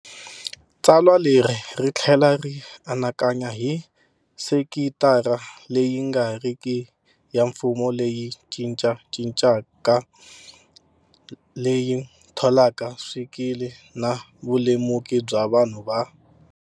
Tsalwa leri ri tlhela ri anakanya hi sekitara leyi nga riki ya mfumo leyi cincacincaka, leyi tholaka swikili na vulemuki bya vanhu va.